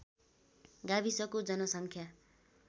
गाविसको जनसङ्ख्या